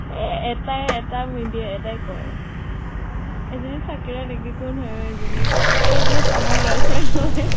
এটাই এটা media এটাই কয়। এইজনী চাকিৰা নেকি? কোন হয় অ এইজনী? এইজনী tom ৰ girl friend হয়